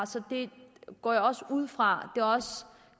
så det går jeg også ud fra